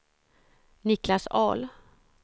Niclas Ahl